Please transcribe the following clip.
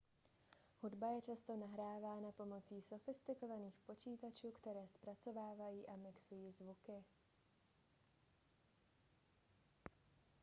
hudba je často nahrávána pomocí sofistikovaných počítačů které zpracovávají a mixují zvuky